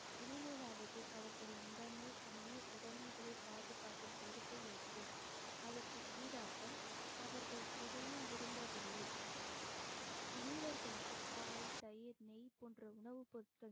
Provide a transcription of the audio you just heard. இனிமேலாவது அவர்களின் உடைமை உயிர் உடைமைகளை பாதுகாக்கும் பொறுப்பை ஏற்போம் அதற்கு ஈடாகம் அவர்கள் எதையும் விரும்பவில்லை வீரர்களுக்கு பால் தயிர் நெய் போன்ற உணவுப் பொருட்கள்